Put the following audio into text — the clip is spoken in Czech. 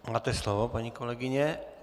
Máte slovo, paní kolegyně.